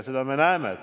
Seda me paraku näeme.